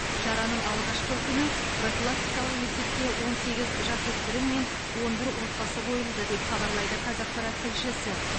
шараның алғашқы күні профилактикалық есепке он сегіз жасөспірім мен он бір отбасы қойылды деп хабарлайды қазақпарат тілшісі